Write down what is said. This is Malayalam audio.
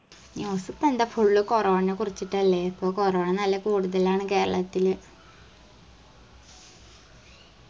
news കണ്ട full corona ന കുറിച്ചിട്ടല്ലേ ഇപ്പൊ corona നല്ല കൂടുതലാണ് കേരളത്തിൽ